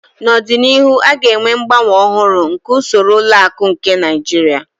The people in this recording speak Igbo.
N'ọdịnihu a ga-enwe mgbanwe ọhụrụ nke usoro ụlọ akụ nke Naijiria.